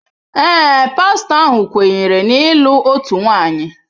Ee, pastọ ahụ kweere na ịlụ otu nwanyị.